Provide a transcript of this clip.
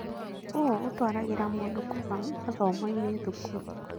ũũ ũtũaragĩrĩra mũndũ kũgũa mathomo-inĩ thukuru.